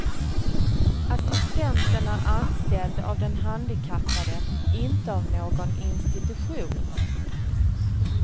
Assistenten är anställd av den handikappade, inte av någon institution.